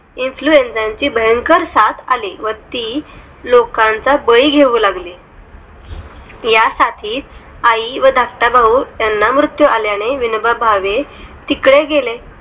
enfluenzer भयंकर सात आले ती लोकांचा बळी घेऊ लागले त्या साठीच आई व धाकटा भाऊ त्यांना मृत्यू आल्या ने विनोबा भावे तिकडे गेले